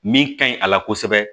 Min ka ɲi a la kosɛbɛ